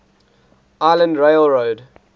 island rail road